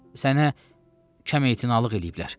Sənə kəm ehtinamlıq eləyiblər.